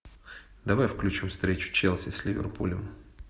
давай включим встречу челси с ливерпулем